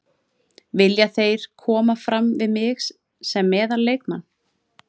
Vilja þeir koma fram við mig sem meðal leikmann.